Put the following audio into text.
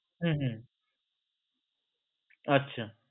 হম হম আচ্ছা